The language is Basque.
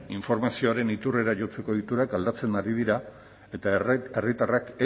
informazioaren iturrera jotzeko ohiturak aldatzen ari dira eta herritarrak